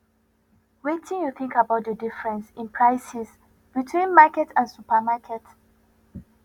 wetin you think about di difference in prices between market and supermarket